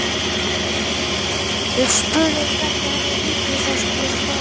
Við spurðum hvernig henni litist á skólann.